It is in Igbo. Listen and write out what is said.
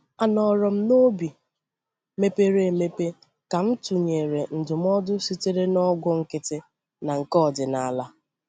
A nòrò m n’obi mepere emepe ka m tụnyere ndụmọdụ sitere na ọgwụ nkịtị na nke ọdịnala.